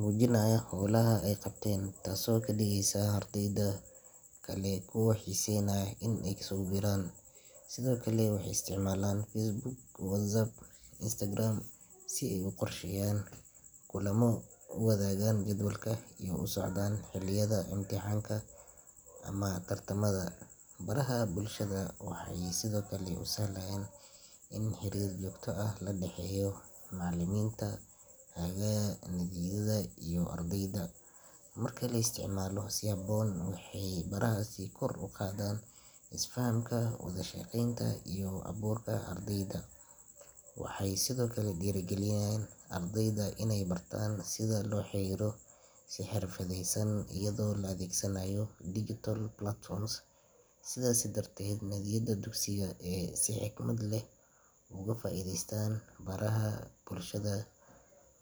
muujinaya hawlaha ay qabteen, taasoo ka dhigaysa ardayda kale kuwa xiiseynaya inay ku soo biiraan. Sidoo kale, waxay isticmaalaan Facebook, WhatsApp, iyo Instagram si ay u qorsheeyaan kulamo, u wadaagaan jadwalka iyo u la socdaan xilliyada imtixaanka ama tartamada. Baraha bulshada waxay sidoo kale u sahlayaan in xiriir joogto ah laga dhaxeeyo macallimiinta hagaya nadiyada iyo ardayda. Marka la isticmaalo si habboon, waxay barahaasi kor u qaadaan isfahamka, wada shaqaynta iyo hal-abuurka ardayda. Waxay sidoo kale dhiirrigeliyaan ardayda inay bartaan sida loola xiriiro si xirfadeysan iyadoo la adeegsanayo digital platforms. Sidaas darteed, nadiyada dugsiga ee si xikmad leh uga faa’iideysta baraha bulshada wa.